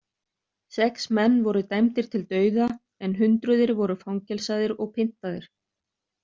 Sex menn voru dæmdir til dauða en hundruðir voru fangelsaðir og pyntaðir.